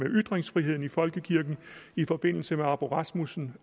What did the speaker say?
ytringsfriheden i folkekirken i forbindelse med arboe rasmussen